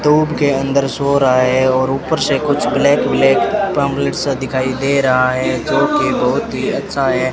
धूप के अंदर सो रहा है और ऊपर से कुछ ब्लैक ब्लैक पंपलेट सा दिखाई दे रहा है जो की बहुत ही अच्छा है।